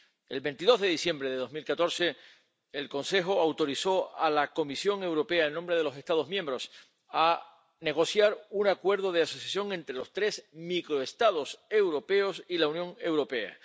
El 22 de diciembre de 2014, el Consejo autorizó a la Comisión Europea, en nombre de los Estados miembros, a negociar un acuerdo de asociación entre los tres microestados europeos y la Unión Europea.